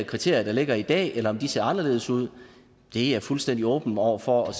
kriterier der ligger i dag eller om de ser anderledes ud er jeg fuldstændig åben over for